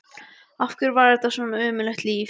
Af hverju var þetta svona ömurlegt líf?